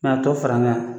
a to fara ɲɔn kan